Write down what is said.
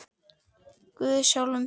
Guð í sjálfum þér.